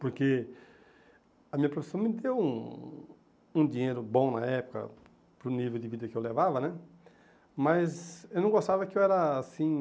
Porque a minha profissão me deu um um dinheiro bom na época, para o nível de vida que eu levava né, mas eu não gostava que eu era assim,